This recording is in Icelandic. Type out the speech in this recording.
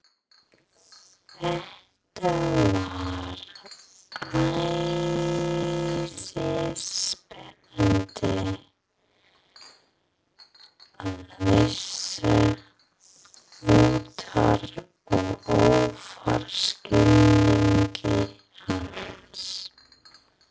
Þetta var æsispennandi, að vísu utar og ofar skilningi hans.